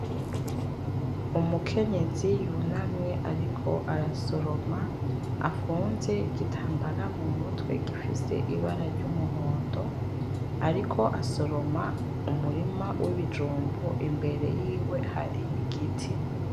Umukenyezi yunamye ariko arasoroma afunze igitambara mumutwe gifise ibara ry'umuhondo ,ariko asoroma umurima w'ibijumbu imbere yiwe hari igiti .